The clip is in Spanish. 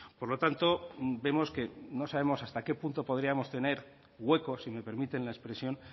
por lo tanto vemos que no sabemos hasta qué punto podríamos tener hueco si me permiten la expresión